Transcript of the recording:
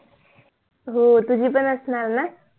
हो तुझी पण असणार न?